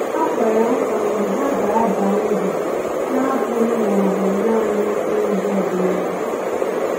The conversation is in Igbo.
Ha kwere nkwa na ha ga-aba uru, na-abụghị ma ọ bụ naanị n'ụzọ ọdịnala.